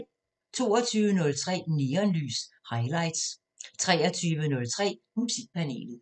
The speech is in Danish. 22:03: Neonlys – Highlights 23:03: Musikpanelet